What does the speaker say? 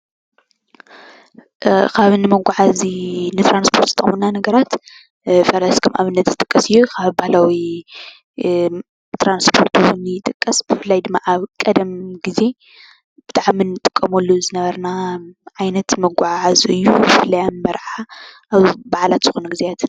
ካብ ንመጓዓዚ ንትራንሰፖርት ዝጠቕሙና ነገራት ሓደ ፈረስ ከም ኣብነት ዝጥቀስ እዩ። ካብ ባህላዊ ትራንስፖርት እዉን ይጠቕስ ብፍላይ ድማ ኣብ ቐደም ግዜ ብጣዕሚ ንጥቀመሉ ዝነበርና ዓይነት መጓዓዐዚ እዩ ብፍላይ ኣብ መርዓ ኣብ በዓላት ዝኾነሉ ግዜያት ።